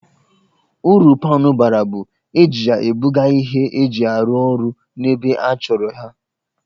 Uru paanụ bara bụ, e ji ya e buga ihe eji arụ orụ n'ebe a chọrọ ha